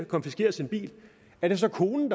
konfiskeret er det så konen